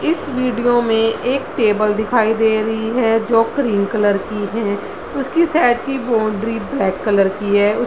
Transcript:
इस वीडियो में एक टेबल दिखाई दे रही है जो क्रीम कलर की है उसकी साइड की बाउंड्री ब्लैक कलर की है।